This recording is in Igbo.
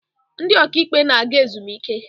Ndị ọka ikpe na-aga ezumike.